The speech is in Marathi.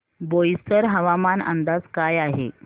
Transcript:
बोईसर हवामान अंदाज काय आहे